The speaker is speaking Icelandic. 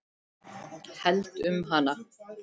Held um hana.